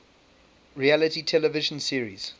reality television series